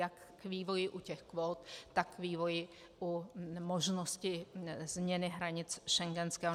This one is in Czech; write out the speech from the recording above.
Jak k vývoji u těch kvót, tak k vývoji u možnosti změny hranic schengenského...